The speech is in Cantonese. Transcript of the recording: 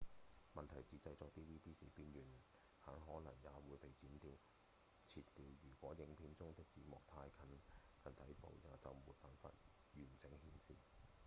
問題是製作 dvd 時邊緣很可能也會被切掉如果影片中的字幕太靠近底部就沒辦法完整顯示